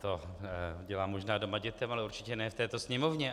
To dělám možná doma dětem, ale určitě ne v této Sněmovně.